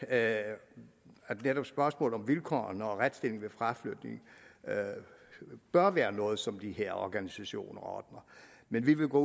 at at netop spørgsmålet om vilkårene og retsstillingen ved fraflytning bør være noget som de her organisationer ordner men vi vil gå